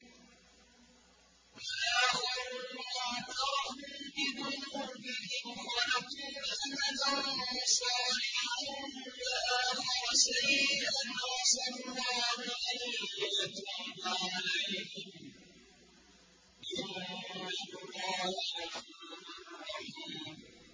وَآخَرُونَ اعْتَرَفُوا بِذُنُوبِهِمْ خَلَطُوا عَمَلًا صَالِحًا وَآخَرَ سَيِّئًا عَسَى اللَّهُ أَن يَتُوبَ عَلَيْهِمْ ۚ إِنَّ اللَّهَ غَفُورٌ رَّحِيمٌ